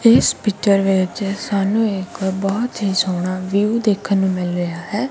ਇਸ ਪਿੱਚਰ ਵਿੱਚ ਸਾਨੂੰ ਇੱਕ ਬਹੁਤ ਹੀ ਸੋਹਨਾ ਵਿਊ ਦੇਖਨ ਨੂੰ ਮਿਲ ਰਿਹਾ ਹੈ।